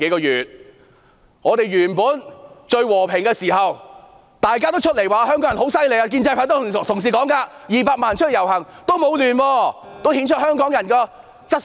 以往社會和平時，大家也說香港人很厲害，建制派的同事說200萬人出來遊行也沒有混亂，顯出香港人的質素。